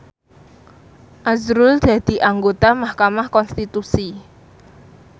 azrul dadi anggota mahkamah konstitusi